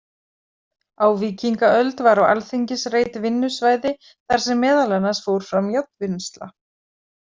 Á víkingaöld var á Alþingisreit vinnusvæði þar sem meðal annars fór fram járnvinnsla.